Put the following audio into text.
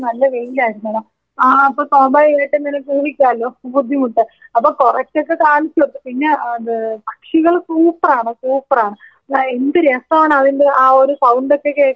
ആ അപ്പോ സ്വാഭാവികം ആയിട്ടും നിനക്ക് ഊഹിക്കാലോ ബുദ്ധിമുട്ട് അപ്പോ കൊറച്ചൊക്കെ കാണിച്ച് കൊടുത്തു പിന്നെ അത് പക്ഷികള് സൂപ്പറാണ് സൂപ്പറാണ് ആ എന്ത് രസാണ് അതിന്റെ ആ ഒരു സൗണ്ടൊക്കെ കേൾക്കാൻ കൊതിയാവും.